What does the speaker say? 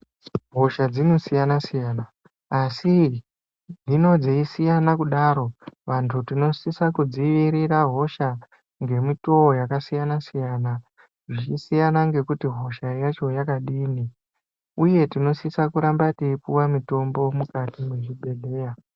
hosha dzinosiyana-siyana, asi dzinoo dzeisiyana kudaro vantu tinosisa kudzivirira hosha ngemitowo yakasiyana-siyana zvichisiyana nekuti hosha yacho yakadini. Uye tinosisa kuramba teipuwa mitombo mukati mwezvibhehleya.